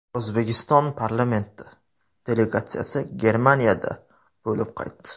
O‘zbekiston parlamenti delegatsiyasi Germaniyada bo‘lib qaytdi.